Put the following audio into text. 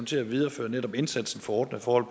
til at videreføre netop indsatsen for ordnede forhold